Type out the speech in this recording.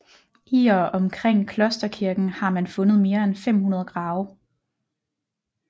I og omkring klosterkirken har man fundet mere end 500 grave